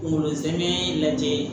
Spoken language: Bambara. Kunkolo zɛmɛ lajɛ